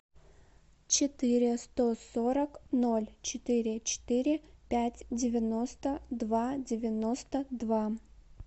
четыре сто сорок ноль четыре четыре пять девяносто два девяносто два